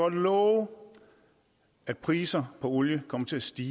love at prisen på olie kommer til at stige